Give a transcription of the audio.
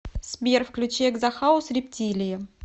сбер включи экзо хаус рептилии